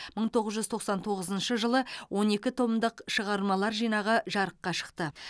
мың тоғыз жүз тоқсан тоғызыншы жылы он екі томдық шығармалар жинағы жарыққа шықты